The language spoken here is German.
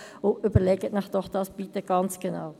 Überlegen Sie sich das bitte ganz genau.